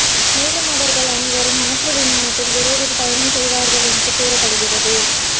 மேலும் அவர்கள் அனைவரும் மாற்று விமானத்தில் விரைவில் பயணம் செய்வார்கள் என்று கூறப்படுகிறது